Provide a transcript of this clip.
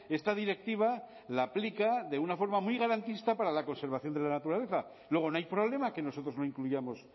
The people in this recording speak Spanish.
esta directiva la aplica de una forma muy garantista para la conservación de la naturaleza luego no hay problema que nosotros no incluyamos